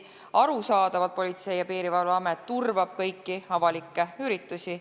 Arusaadavalt turvab Politsei- ja Piirivalveamet kõiki avalikke üritusi.